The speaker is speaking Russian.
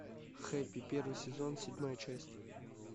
хэппи первый сезон седьмая часть